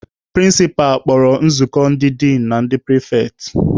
Prịnsịpa kpọrọ nzukọ ndị din na na ndị pịrịfetị.